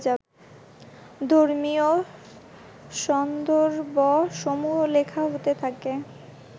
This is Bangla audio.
ধর্মীয় সন্দর্ভসমূহ লেখা হতে থাকে